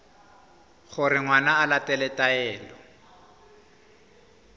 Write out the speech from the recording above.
gore ngwana o latela taelo